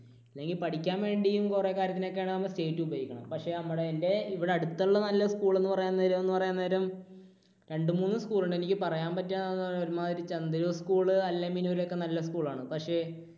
അല്ലെങ്കിൽ പഠിക്കാൻ വേണ്ടിയും കുറെ കാര്യത്തിൽ ഒക്കെ ആണെങ്കിൽ നമ്മൾ state ഉപയോഗിക്കണം. പക്ഷേ നല്ല എൻറെ നമ്മുടെ ഇവിടെ അടുത്തുള്ള നല്ല school എന്ന് പറയാൻ നേരം എന്ന് പറയാൻ നേരം രണ്ടുമൂന്ന് school ഉണ്ട്. എനിക്ക് പറയാൻ പറ്റുക ഒരുമാതിരി ചന്തിരൂർ school അൽ-അമീൻ ഉൽ ഒക്കെ നല്ല school ആണ്. പക്ഷേ